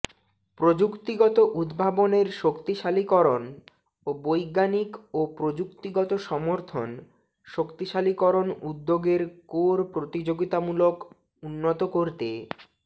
প্রযুক্তিগত উদ্ভাবনের শক্তিশালীকরণ ও বৈজ্ঞানিক ও প্রযুক্তিগত সমর্থন শক্তিশালীকরণ উদ্যোগের কোর প্রতিযোগিতামূলক উন্নত করতে